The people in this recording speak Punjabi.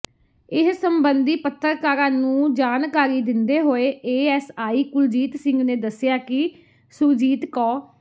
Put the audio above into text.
ਇਸ ਸਬੰਧੀ ਪੱਤਰਕਾਰਾਂ ਨੰੂ ਜਾਣਕਾਰੀ ਦਿੰਦੇ ਹੋਏ ਏਐਸਆਈ ਕੁਲਜੀਤ ਸਿੰਘ ਨੇ ਦੱਸਿਆ ਕਿ ਸੁਰਜੀਤ ਕੌ